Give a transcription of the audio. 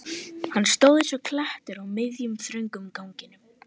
Hann stóð eins og klettur á miðjum, þröngum ganginum.